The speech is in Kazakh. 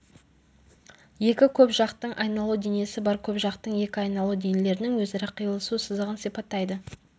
екі көпжақтың айналу денесі бар көпжақтың екі айналу денелердің өзара қиылысу сызығын сипаттайды